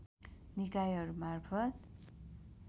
निकायहरूमार्फत